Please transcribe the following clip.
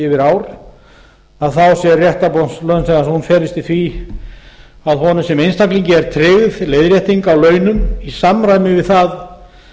yfir ár þá felist réttarbót launþega í því að honum sem einstaklingi er tryggð leiðrétting á launum í samræmi við það